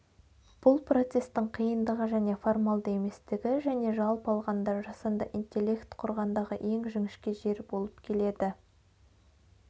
бұл процесстің қиындығы және формалды еместігі және жалпы алғанда жасанды интеллект құрғандағы ең жіңішке жер болып келеді